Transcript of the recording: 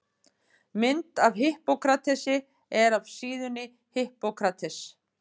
Mynd af Hippókratesi er af síðunni Hippocrates.